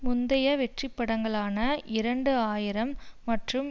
முந்தைய வெற்றிப்படங்களான இரண்டு ஆயிரம் மற்றும்